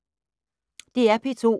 DR P2